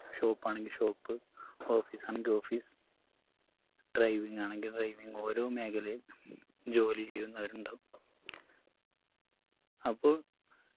shop ആണെങ്കി shopoffice ആണെങ്കി office driving ആണെങ്കി driving ഓരോ മേഖലയിൽ ജോലി ചെയ്യുന്നവരുണ്ടാകും അപ്പോ